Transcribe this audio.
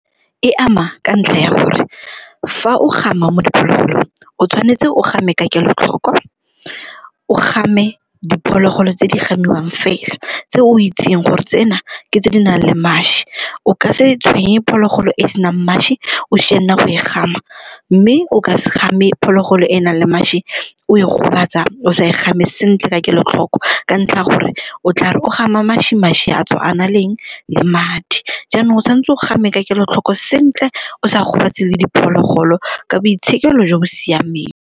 E ama ka ntlha ya gore fa o gama mo diphologolong o tshwanetse o game ka kelotlhoko, o game diphologolo tse di gamiwang fela, tse o itseng gore tsena ke tse di nang le mašwi. O ka se tshwenye phologolo e e senang mašwi o sianna go e gama, mme o ka se game phologolo e e nang le mašwi o e gobatsa o sa e game sentle ka kelotlhoko ka ntlha ya gore o tla re o gama mašwi, mašwi a tswa a na le eng? Le madi. Jaanong o tshwanetse o game ka kelotlhoko sentle o sa gobatse le diphologolo ka boitshekelo jo bo siameng.